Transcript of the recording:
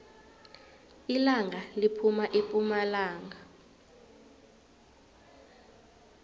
ilanga liphuma epumalanga